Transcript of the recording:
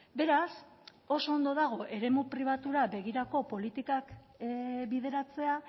beraz oso ondo dago eremu pribatura begirako politikak bideratzea